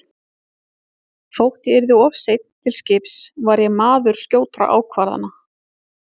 Þótt ég yrði of seinn til skips var ég maður skjótra ákvarðana.